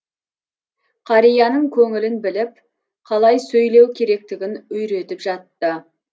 қарияның көңілін біліп қалай сөйлеу керектігін үйретіп жатты